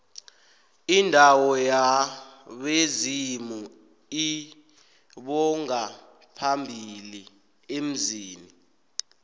indawo yabezimu lbongaphambili emzini